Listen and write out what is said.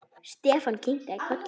Stefán kinkaði kolli.